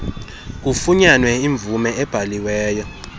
kufunyanwe imvume ebhaliweyo